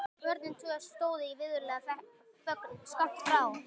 Börnin tvö stóðu í virðulegri þögn skammt frá.